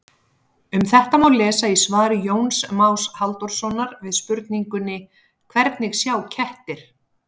Um þetta má lesa í svari Jóns Más Halldórssonar við spurningunni Hvernig sjá kettir?